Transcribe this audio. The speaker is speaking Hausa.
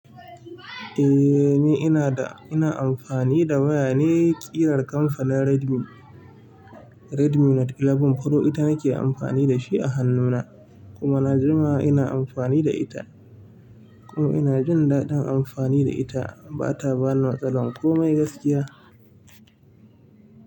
Eh ne, ina da-- ina amfani da waya ne, ƙirar kamfanin Redmi. Redmi Note sha ɗaya Pro ita nake amfani da shi a hannuna. Kuma na jima ina amfani da ita. Kuma ina jin daɗin amfani da ita, ba ta bani matsala komai gaskiya.